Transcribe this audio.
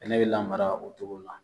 Bɛnɛ bɛ la lamara o cogo la